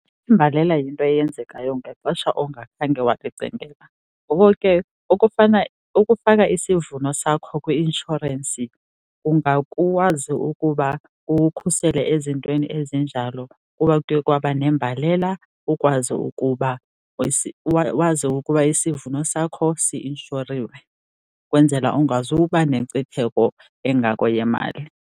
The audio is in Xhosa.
Imbalela yinto eyenzekayo ngexesha ongakhange wayicingela, ngoko ke okufana, ukufaka isivuno sakho kwi-inshorensi ungakwazi ukuba kukukhusele ezintweni ezinjalo. Ukuba kuye kwaba nembalela ukwazi ukuba wazi ukuba isivuno sakho si-inshoriwe ukwenzela ungazuba nenkcitheko engako yemali.